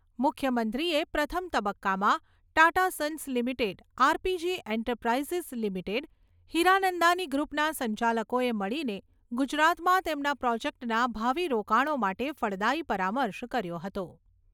મુખ્યમંત્રીએ પ્રથમ તબક્કામાં Tata Sons Limited RPG Enterprises Limited Hiranandani ગ્રુપના સંચાલકોએ મળીને ગુજરાતમાં તેમના પ્રોજેક્ટના ભાવિ રોકાણો માટે ફળદાયી પરામર્શ કર્યો હતો.